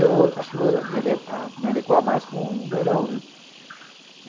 Eu acho que vou me adequar mais com o verão, né.